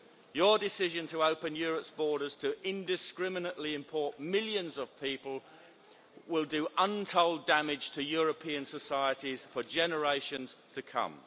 Your decision to open Europe's borders to indiscriminately import millions of people will do untold damage to European societies for generations to come.